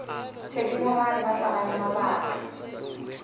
thedimogane ba sa gane mabaka